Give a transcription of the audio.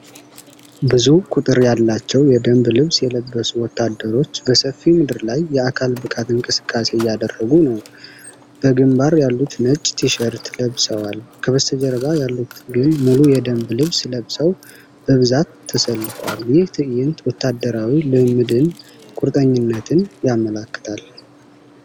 ብዙ ቁጥር ያላቸው የደንብ ልብስ የለበሱ ወታደሮች፣ በሰፊ ምድር ላይ የአካል ብቃት እንቅስቃሴ እያደረጉ ነው። በግምባር ያሉት ነጭ ቲሸርት ለብሰዋል፤ ከበስተጀርባ ያሉት ግን ሙሉ የደንብ ልብስ ለብሰው በብዛት ተሰልፈዋል። ይህ ትዕይንት ወታደራዊ ልምምድንና ቁርጠኝነትን ያመለክታል።